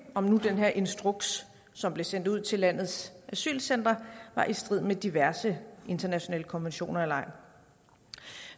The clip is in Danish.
om nu den her instruks som blev sendt ud til landets asylcentre var i strid med diverse internationale konventioner eller ej